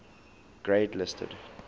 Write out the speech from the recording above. grade listed